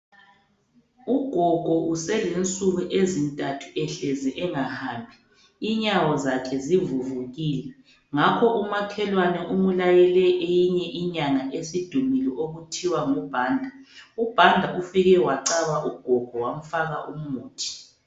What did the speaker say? Ugogo uselensuku ezintathu ehlezi engahambi, inyawo zakhe zivuvukile. Ngakho umakhwelane wakhe umlayele eyinye inyanga esidumile okuthiwa nguBhanda. UBhanda ufike wacaba ugogo wamfaka umuthi.